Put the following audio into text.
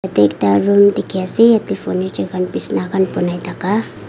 tey ekta room dikhi ase yetey furniture khan bisna khan banai thaka.